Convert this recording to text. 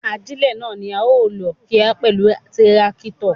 Ajílẹ̀ náà ni a ó lò kíá pẹ̀lú tírákítọ̀.